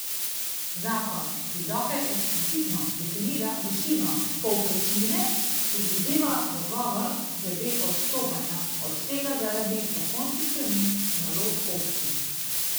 Zakon, ki dokaj eksplicitno definira višino povprečnine, predvideva dogovor glede odstopanja od tega zaradi zakonskih sprememb nalog občin.